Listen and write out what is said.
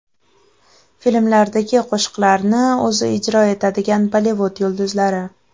Filmlardagi qo‘shiqlarni o‘zi ijro etadigan Bollivud yulduzlari .